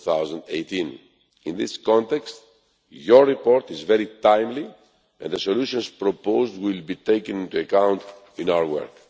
2018. In this context, your report is very timely, and the solutions proposed will be taken into account in our work.